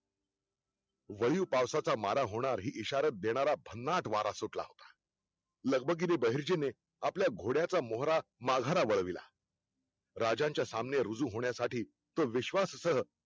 वळीवपावसाचा मारा होणार हि इशारात देणारा भन्नाट वारा सुटला होता. लगबगीने बहिर्जीने आपल्या घोड्याचा मोहरा माघरा वळविला. राजांच्या सामने रुजू होण्यासाठी तो विश्वाससह